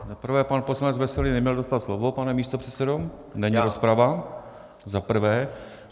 Za prvé, pan poslanec Veselý neměl dostat slovo, pane místopředsedo, není rozprava, za prvé.